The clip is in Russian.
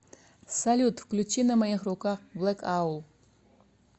салют включи на моих руках блэкаул